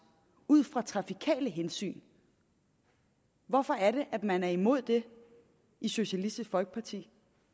ud fra trafikale hensyn hvorfor er det at man er imod det i socialistisk folkeparti